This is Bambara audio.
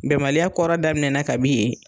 Bɛnbaliya kɔrɔ daminɛna kabi yen.